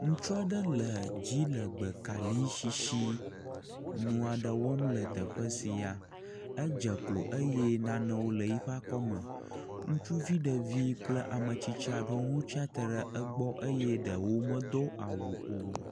Ŋutsu aɖe le dzilegbekali sisi ŋuɖe wɔm le teƒe sia, edze klo eye naneo le yi ƒe akɔme, ŋutsuvi ɖevi kple ametsitsi aɖewo hã tsi atsitre ɖe egbɔ eye ɖewo medo awu o.